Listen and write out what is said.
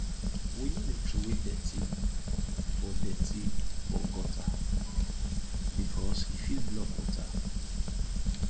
we no dey troway dirty for dirty for gutter because e fit block water